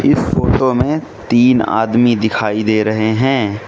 इस फोटो में तीन आदमी दिखाई दे रहे हैं।